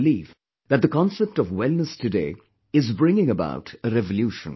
I believe that the concept of wellness today is bringing about a revolution